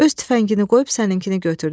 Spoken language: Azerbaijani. Öz tüfəngini qoyub səninkini götürdü.